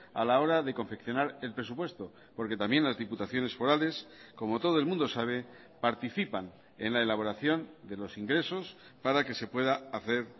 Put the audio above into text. a la hora de confeccionar el presupuesto porque también las diputaciones forales como todo el mundo sabe participan en la elaboración de los ingresos para que se pueda hacer